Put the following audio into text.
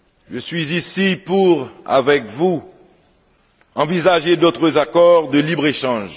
Je suis ici pour, avec vous, envisager d'autres accords de libre échange.